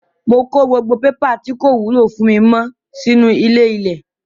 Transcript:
Mo kó gbogbo pépà tí kò wúlò fún mi mọ́ sínú ilé-ilẹ̀